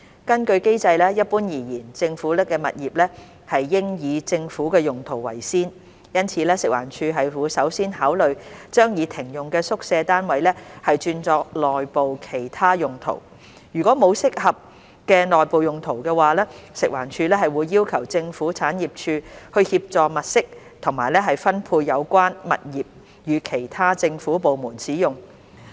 根據機制，一般而言，政府物業應以政府用途為先，因此食環署會首先考慮將已停用的宿舍單位轉作內部其他用途。如果沒有合適的內部用途，食環署會要求政府產業署協助物色及分配有關物業予其他政府部門使用。